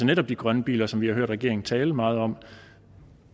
netop de grønne biler som vi har hørt regeringen tale meget om